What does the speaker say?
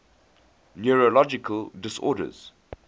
neurological disorders